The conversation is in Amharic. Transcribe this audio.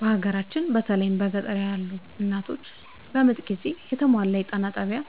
በሀገራችን በተለይም በገጠር ያሉ እናቶች በምጥ ጊዜ የተሟላ የጤና ጣቢያ